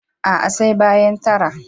A'a, sai bayan tara.